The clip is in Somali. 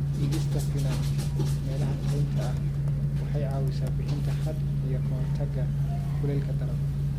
Dhigista finan meelaha kaynta ah waxay caawisaa bixinta hadh iyo ka hortagga kulaylka daran.